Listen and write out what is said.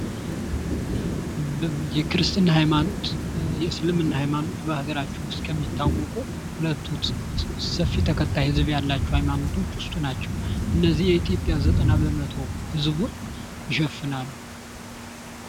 የክርስትና ሃይማኖት፣ የእስልምና ሃይማኖት በአገራችን ውስጥ ከሚታወቁ ሁለቱ ሰፊ ተከታይ ህዝብ ካላቸው ሃይማኖትዎች ውስጥ ናቸው። እነዚህ የኢትዮጵያ ዘጠና በመቶ እዝጎ ይሸፍናሉ።